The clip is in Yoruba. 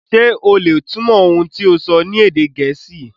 Ṣe o le túmọ̀ ohun ti o sọ ni èdè Gẹẹsi?